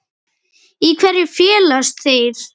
Í hverju felast þeir?